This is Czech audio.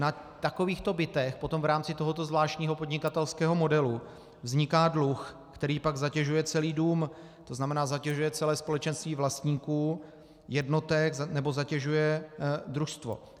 Na takovýchto bytech potom v rámci tohoto zvláštního podnikatelského modelu vzniká dluh, který pak zatěžuje celý dům, to znamená, zatěžuje celé společenství vlastníků jednotek nebo zatěžuje družstvo.